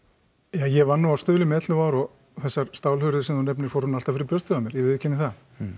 ja ég vann nú á Stuðlum í ellefu ár og þessar stálhurðir sem þú nefnir fóru nú alltaf fyrir brjóstið á mér ég viðurkenni það